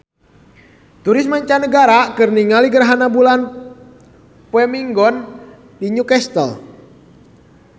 Turis mancanagara keur ningali gerhana bulan poe Minggon di New Castle